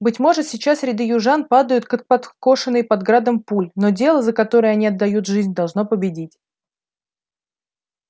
быть может сейчас ряды южан падают как подкошенные под градом пуль но дело за которое они отдают жизнь должно победить